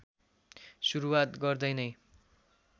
सुरुवात गर्दै नै